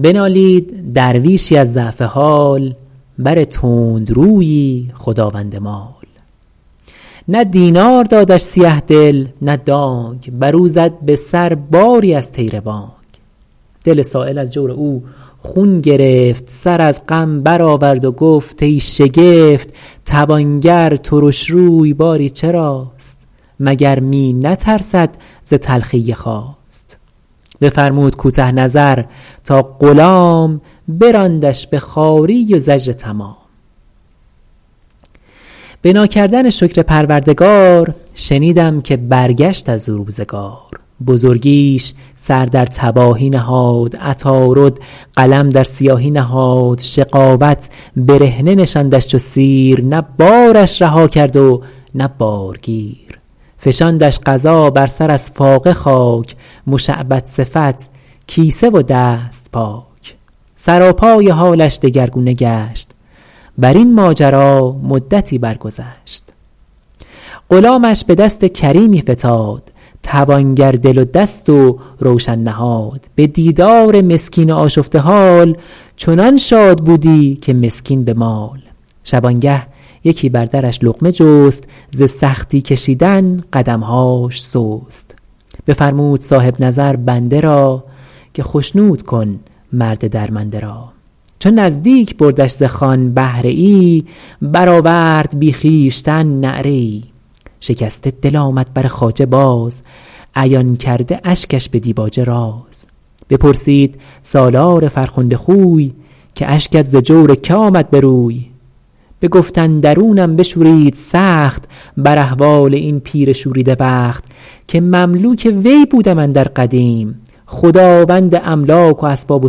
بنالید درویشی از ضعف حال بر تندرویی خداوند مال نه دینار دادش سیه دل نه دانگ بر او زد به سر باری از طیر بانگ دل سایل از جور او خون گرفت سر از غم بر آورد و گفت ای شگفت توانگر ترش روی باری چراست مگر می نترسد ز تلخی خواست بفرمود کوته نظر تا غلام براندش به خواری و زجر تمام به ناکردن شکر پروردگار شنیدم که برگشت از او روزگار بزرگیش سر در تباهی نهاد عطارد قلم در سیاهی نهاد شقاوت برهنه نشاندش چو سیر نه بارش رها کرد و نه بارگیر فشاندش قضا بر سر از فاقه خاک مشعبد صفت کیسه و دست پاک سراپای حالش دگرگونه گشت بر این ماجرا مدتی بر گذشت غلامش به دست کریمی فتاد توانگر دل و دست و روشن نهاد به دیدار مسکین آشفته حال چنان شاد بودی که مسکین به مال شبانگه یکی بر درش لقمه جست ز سختی کشیدن قدمهاش سست بفرمود صاحب نظر بنده را که خشنود کن مرد درمنده را چو نزدیک بردش ز خوان بهره ای برآورد بی خویشتن نعره ای شکسته دل آمد بر خواجه باز عیان کرده اشکش به دیباجه راز بپرسید سالار فرخنده خوی که اشکت ز جور که آمد به روی بگفت اندرونم بشورید سخت بر احوال این پیر شوریده بخت که مملوک وی بودم اندر قدیم خداوند املاک و اسباب و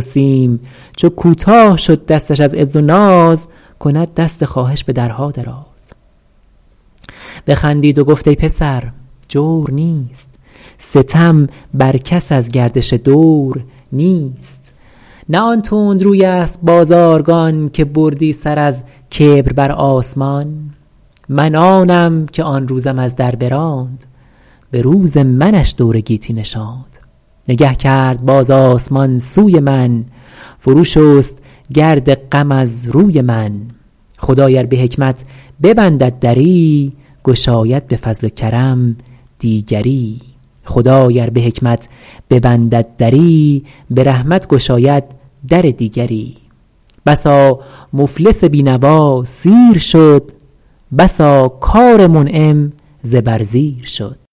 سیم چو کوتاه شد دستش از عز و ناز کند دست خواهش به درها دراز بخندید و گفت ای پسر جور نیست ستم بر کس از گردش دور نیست نه آن تندروی است بازارگان که بردی سر از کبر بر آسمان من آنم که آن روزم از در براند به روز منش دور گیتی نشاند نگه کرد باز آسمان سوی من فرو شست گرد غم از روی من خدای ار به حکمت ببندد دری گشاید به فضل و کرم دیگری بسا مفلس بینوا سیر شد بسا کار منعم زبر زیر شد